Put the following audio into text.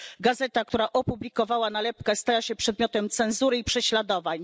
Gazeta, która opublikowała nalepkę, stała się przedmiotem cenzury i prześladowań.